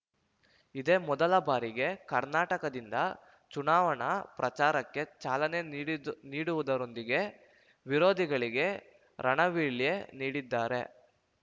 ಇದೇ ಮೊದಲ ಬಾರಿಗೆ ಕರ್ನಾಟಕದಿಂದ ಚುನಾವಣಾ ಪ್ರಚಾರಕ್ಕೆ ಚಾಲನೆ ನೀಡಿದು ನೀಡುವುದರೊಂದಿಗೆ ವಿರೋಧಿಗಳಿಗೆ ರಣವೀಳ್ಯ ನೀಡಿದ್ದಾರೆ